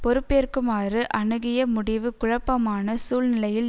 பொறுப்பேற்குமாறு அணுகிய முடிவு குழப்பமான சூழ்நிலையில்